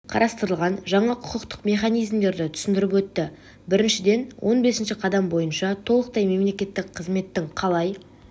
қарастырылған жаңа құқықтық механизмдерді түсіндіріп өтті біріншіден он бесінші қадам бойынша толықтай мемлекеттік қызметтің қалай